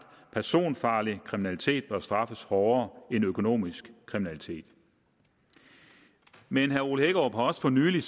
at personfarlig kriminalitet bør straffes hårdere end økonomisk kriminalitet men herre ole hækkerup har også for nylig